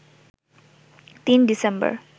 ৩ December